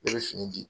Ne bɛ fini di